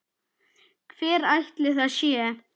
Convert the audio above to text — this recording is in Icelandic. Hver ætli það sé?